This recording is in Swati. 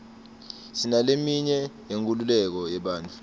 sinaleminye yenkululeko yebantfu